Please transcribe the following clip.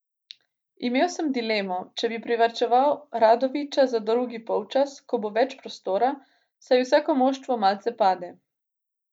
Imel sem dilemo, če bi privarčeval Radovića za drugi polčas, ko bo več prostora, saj vsako moštvo malce pade.